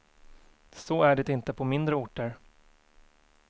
Så är det inte på mindre orter.